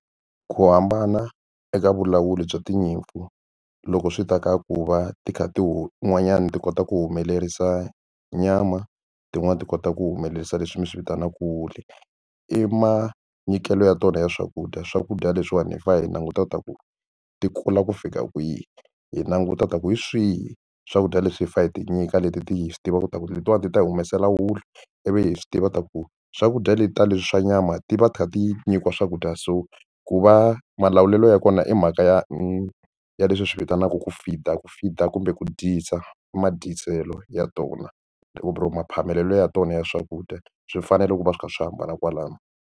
Ku hambana eka vulawuri bya tinyimpfu loko swi ta ka ku va ti kha ti wu wun'wanyani ti kota ku humelerisa nyama tin'wani ti kota ku humelerisa leswi mi swi vitanaka wool i manyikelo ya tona ya swakudya. Swakudya leswiwani hi fa hi languta ta ku ti kula ku fika kwihi hi languta ta ku hi swihi swakudya leswi hi fa hi ti nyika leti ti hi swi tiva ku ta ku letiwani ti ta hi humesela wulu ivi hi swi tiva ta ku swakudya leti ta leswi swa nyama ti va ti nyikiwa swakudya so ku va malawulele ya kona i mhaka ya i ya leswi hi swi vitanaka ku feed-a ku feed-a kumbe ku dyisa i madyisa tlhelo ya tona or maphamelo ya tona ya swakudya swi fanele ku va swi kha swi hambana kwalano.